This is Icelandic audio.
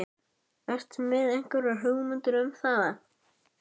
Ertu með einhverjar hugmyndir um það?